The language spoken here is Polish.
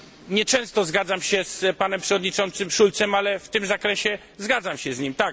nieczęsto zgadzam się z przewodniczącym Schultzem, ale w tym zakresie zgadzam się z nim.